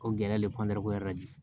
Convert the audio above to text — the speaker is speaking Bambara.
O gɛlɛya de ye la bi